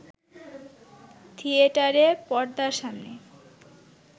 থিয়েটারে পর্দার সামনে